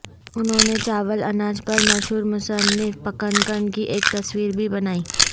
انہوں نے چاول اناج پر مشہور مصنف پکنکن کی ایک تصویر بھی بنائی